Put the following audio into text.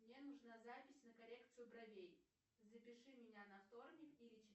мне нужна запись на коррекция бровей запиши меня на вторник или